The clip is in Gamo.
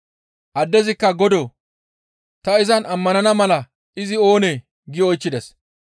Addezikka, «Godoo! Ta izan ammanana mala izi oonee?» gi oychchides.